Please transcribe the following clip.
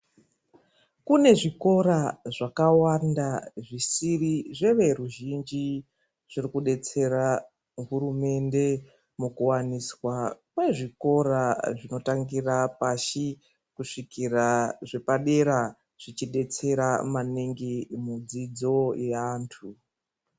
Kune zvikora zvakawanda zvisiri zveruzhinji zviri kudetsera hurumende mukuwaniswa kwezvikora zvinotangura pashi kuzvikira zvepadera zvichibetsera maningi mudzidzo yevantu.